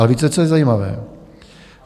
A víte, co je zajímavé?